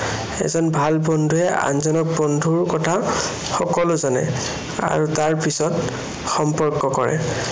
এজন ভাল বন্ধুৱে আনজন বন্ধুৰ কথা সকলো জানে। আৰু তাৰপিছত সম্পৰ্ক কৰে।